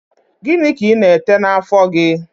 Gịnị ka ị na-ete n'àfọ́ gị?